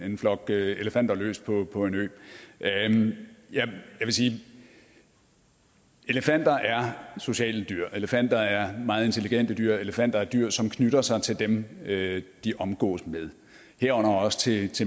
en flok elefanter løs på på en ø jeg vil sige elefanter er sociale dyr elefanter er meget intelligente dyr elefanter er dyr som knytter sig til dem de omgås herunder også til